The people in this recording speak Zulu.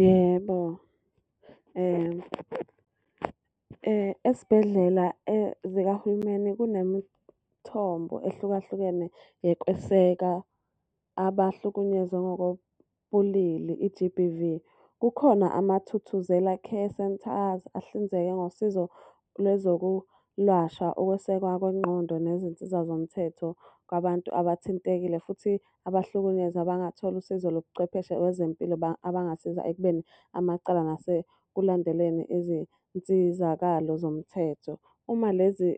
Yebo, esibhedlela zikahulumeni kunemithombo ehlukahlukene yokweseka abahlukunyezwa ngokobulili i-B_B_V. Kukhona amaThuthuzela care center ahlinzeke ngosizo lwezokulashwa, ukwesekwa kwengqondo, nezinsiza zomthetho kwabantu abathintekile. Futhi abahlukunyezwa abangathola usizo lobuchwepheshe wezempilo abangasiza ekubeni amacala nase kulandeleni izinsizakalo zomthetho. Uma lezi